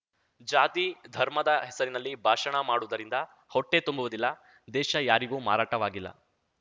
ಜಾತಿ ಧರ್ಮದ ಹೆಸರಿನಲ್ಲಿ ಭಾಷಣ ಮಾಡುವುದರಿಂದ ಹೊಟ್ಟೆ ತುಂಬುವುದಿಲ್ಲ ದೇಶ ಯಾರಿಗೂ ಮಾರಾಟವಾಗಿಲ್ಲ